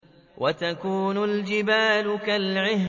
وَتَكُونُ الْجِبَالُ كَالْعِهْنِ